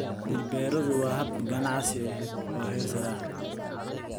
Dhir-beeradu waa hab ganacsi oo heer sare ah.